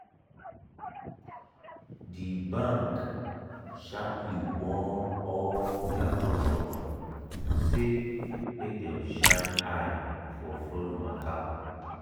di bank sharply warn all dia customer say make dem shine eye for fraud matter.